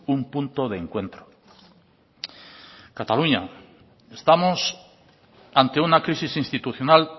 un punto de encuentro cataluña estamos ante una crisis institucional